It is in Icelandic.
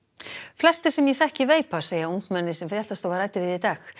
flestir sem ég þekki veipa segja ungmenni sem fréttastofa ræddi við í dag